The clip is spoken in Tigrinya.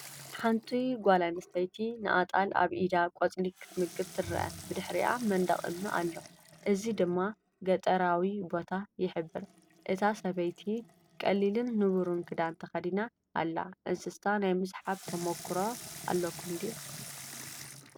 ሓንቲ ጓል ኣንስተይቲ ንኣጣል ኣብ ኢዳ ቆጽሊ ክትምግባ ትርአ። ብድሕሪኣ መንደቕ እምኒ ኣሎ፣ እዚ ድማ ገጠራዊ ቦታ ይሕብር። እታ ሰበይቲ ቀሊልን ንቡርን ክዳን ተኸዲና ኣላ፡፡ እንስሳ ናይ ምሕብሓብ ተመክሮ ኣለኩም ድዩ?